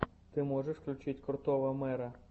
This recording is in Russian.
ты можешь включить крутого мэра